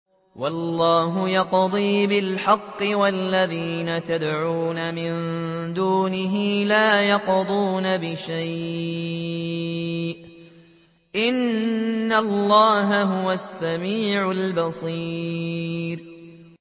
وَاللَّهُ يَقْضِي بِالْحَقِّ ۖ وَالَّذِينَ يَدْعُونَ مِن دُونِهِ لَا يَقْضُونَ بِشَيْءٍ ۗ إِنَّ اللَّهَ هُوَ السَّمِيعُ الْبَصِيرُ